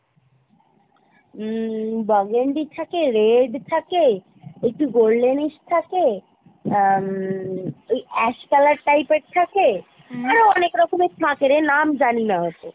হম burgundy থাকে red থাকে একটু goldenish থাকে আহ হম ওই ash color type এর থাকে আরো অনেক রকমের থাকে রে নাম জানি না অতো